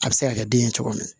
A bɛ se ka kɛ den ye cogo min na